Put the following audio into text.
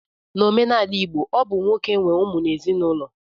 N'omenala igbo, ọ bụ nwoke nwe ụmụ n'ezinaụlọ